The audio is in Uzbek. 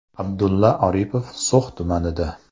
Abdulla Aripov So‘x tumanida.